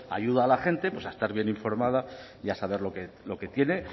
ayuda a la gente a estar bien informada y a saber lo que tiene